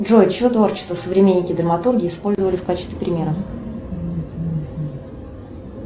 джой чье творчество современники драматурги использовали в качестве примера